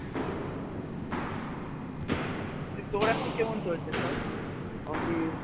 তোর এখন কেমন চলছে সব office